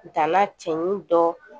Dala cɛɲɔgɔn dɔ